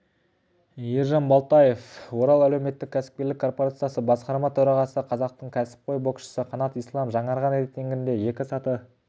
ержан балтаев орал әлеуметтік-кәсіпкерлік корпорациясы басқарма төрағасы қазақтың кәсіпқой боксшысы қанат ислам жаңарған рейтингінде екі саты